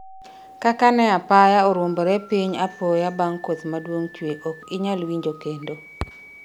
kaka ne apaya oruombore piny apoya bang' koth maduong' chwe ok inyal winjo kendo